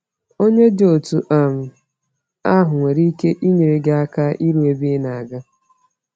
Onye dị otú um ahụ nwere ike inyere gị aka iru ebe ị na-aga.